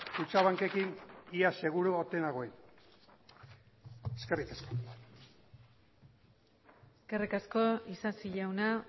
kutxabankekin ia seguru ote nagoen eskerrik asko eskerrik asko isasi jauna